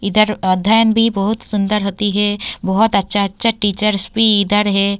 इधर अध्ययन भी बहुत सुंदर होती है बहोत अच्छा-अच्छा टीचर्स भी इधर है।